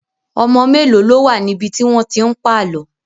Ọmọ mélòó ló wà níbi tí wọ́n ti ń pàlọ́?